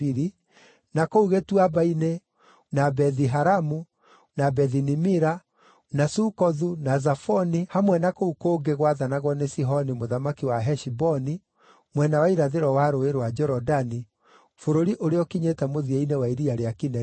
na kũu gĩtuamba-inĩ, na Bethi-Haramu, na Bethi-Nimira, na Sukothu, na Zafoni hamwe na kũu kũngĩ gwathanagwo nĩ Sihoni mũthamaki wa Heshiboni (mwena wa irathĩro wa Rũũĩ rwa Jorodani, bũrũri ũrĩa ũkinyĩte mũthia-inĩ wa Iria rĩa Kinerethu).